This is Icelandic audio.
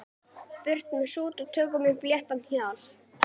Burt með sút og tökum upp léttara hjal.